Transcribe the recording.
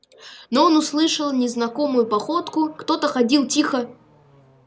но он услышал незнакомую походку кто-то ходил тихо